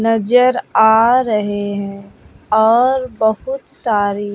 नजर आ रहे हैं और बहुत सारी--